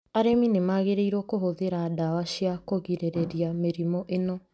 Arĩmi nĩ magĩrĩirũo kũhũthĩra dawa cia kugirĩrĩria mĩrimu ĩno